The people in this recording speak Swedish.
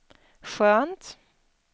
skönt